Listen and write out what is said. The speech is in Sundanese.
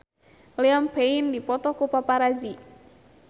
Liam Payne dipoto ku paparazi